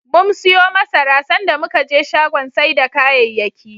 Mum siyo masara, sanda muka je shagon sai da kayayyaki.